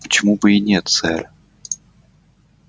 но почему бы и нет сэр